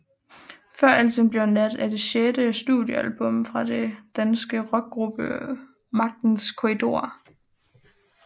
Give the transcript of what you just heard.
Før alting bliver nat er det sjette studiealbum fra den danske rockgruppe Magtens Korridorer